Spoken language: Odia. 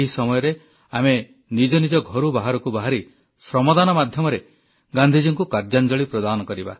ଏହି ସମୟରେ ଆମେ ନିଜ ନିଜ ଘରୁ ବାହାରକୁ ବାହାରି ଶ୍ରମଦାନ ମାଧ୍ୟମରେ ଗାନ୍ଧିଜୀଙ୍କୁ କାର୍ଯ୍ୟାଞ୍ଜଳି ପ୍ରଦାନ କରିବା